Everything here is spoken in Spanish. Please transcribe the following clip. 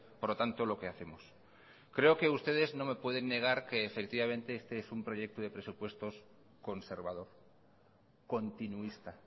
por lo tanto lo que hacemos creo que ustedes no me pueden negar que efectivamente este es un proyecto de presupuestos conservador continuista